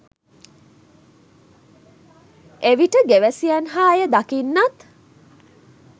එවිට ගෙවැසියන් හා එය දකින්නන්